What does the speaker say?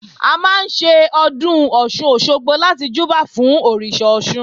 A máa ń ṣe Ọdún Ọ̀sun-Òsogbo láti júbà fún Òrìṣà Ọ̀ṣun